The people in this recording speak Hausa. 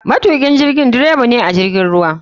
Matukin jirigi dreba ne a jirgin ruwa.